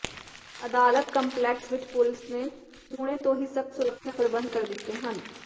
ਅਦਾਲਤ ਕੰਪਲੈਕਸ ਵਿਚ ਪੁਲਿਸ ਨੇ ਹੁਣੇ ਤੋਂ ਹੀ ਸਖ਼ਤ ਸੁਰੱਖਿਆ ਪ੍ਰਬੰਧ ਕਰ ਦਿੱਤੇ ਹਨ